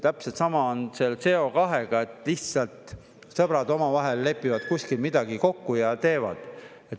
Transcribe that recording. Täpselt sama on seal CO2-ga, et lihtsalt sõbrad omavahel lepivad kuskil midagi kokku ja teevad.